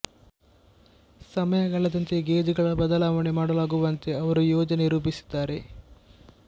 ಸಮಯ ಕಳೆದಂತೆ ಗೇಜ್ ಗಳ ಬದಲಾವಣೆ ಮಾಡಲಾಗುವಂತೆ ಅವರು ಯೋಜನೆ ರೂಪಿಸಿದ್ದಾರೆ